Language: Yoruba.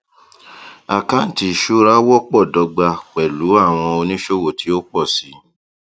àkántì ìṣura wọpọ dọgba pẹlú àwọn oníṣòwò tí ó pọ sí